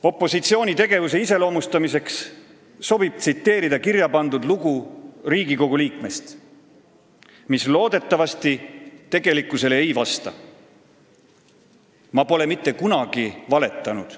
Opositsiooni tegevuse iseloomustamiseks sobib tsiteerida kirjapandud lugu ühest Riigikogu liikmest, mis loodetavasti tegelikkusele ei vasta: "Ma pole mitte kunagi valetanud.